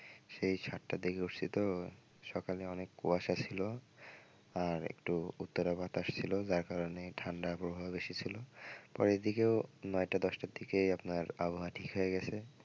সেই সাতটার দিকে উঠছি তো সকালে অনেক কুয়াশা ছিল আরেকটু উত্তরা বাতাস ছিল যার কারণে ঠান্ডা আবহাওয়া বেশি ছিল পরে এদিকেও নয়টা দশটার দিকে আপনার আবহাওয়া ঠিক হয়ে গেছে।